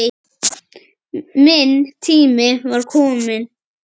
Minn tími var kominn.